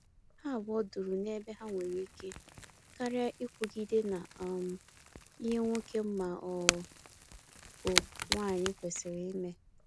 Ha abụọ duru na-ebe ha nwere ike, karịa ikwugide na um ihe nwoke ma ọ bụ nwanyi kwesịrị ime